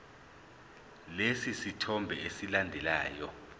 lesi sithombe esilandelayo